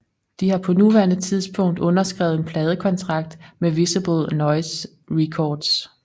De har på nuværende tidspunkt underskrevet en Pladekontrakt med Visible Noise Records